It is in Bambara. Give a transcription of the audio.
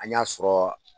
An y'a sɔrɔ